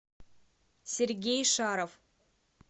сергей шаров